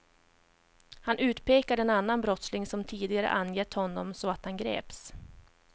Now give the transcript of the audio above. Han utpekade en annan brottsling som tidigare angett honom så att han greps.